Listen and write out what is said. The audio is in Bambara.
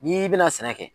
N'i bɛna sɛnɛ kɛ